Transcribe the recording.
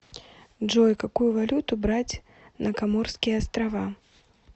джой какую валюту брать на коморские острова